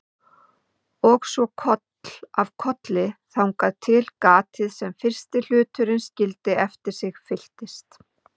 Og svo koll af kolli þangað til gatið sem fyrsti hluturinn skildi eftir sig fyllist.